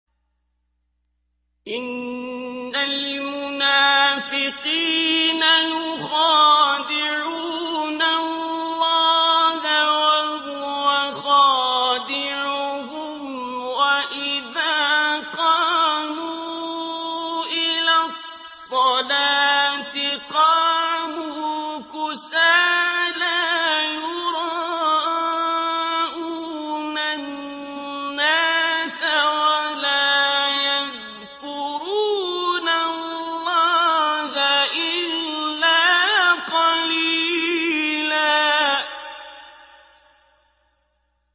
إِنَّ الْمُنَافِقِينَ يُخَادِعُونَ اللَّهَ وَهُوَ خَادِعُهُمْ وَإِذَا قَامُوا إِلَى الصَّلَاةِ قَامُوا كُسَالَىٰ يُرَاءُونَ النَّاسَ وَلَا يَذْكُرُونَ اللَّهَ إِلَّا قَلِيلًا